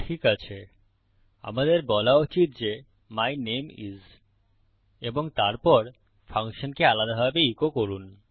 ঠিকআছে আমাদের বলা উচিত যে মাই নামে আইএস এবং তারপর ফাংশনকে আলাদাভাবে ইকো করুন